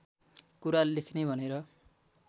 कुरा लेख्ने भनेर